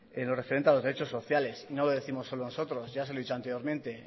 en lo referente a los derechos sociales no lo décimos solo nosotros ya se lo he dicho anteriormente